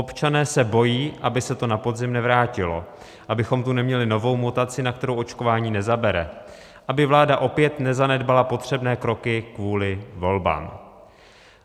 Občané se bojí, aby se to na podzim nevrátilo, abychom tu neměli novou mutaci, na kterou očkování nezabere, aby vláda opět nezanedbala potřebné kroky kvůli volbám.